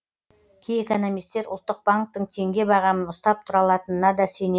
кей экономистер ұлттық банктің теңге бағамын ұстап тұра алатынына да сенеді